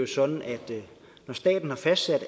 sådan at når staten har fastsat